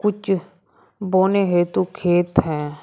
कुछ बोने हेतु खेत हैं।